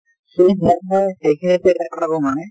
সেই মই এটা কথা কওঁ মানে